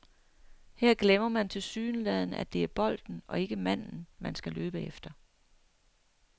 Her glemmer man tilsyneladende, at det er bolden og ikke manden, man skal løbe efter.